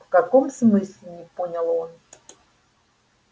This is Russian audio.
в каком смысле не понял он